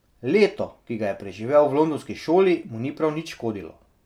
Leto, ki ga je preživel v londonski šoli, mu ni prav nič škodilo.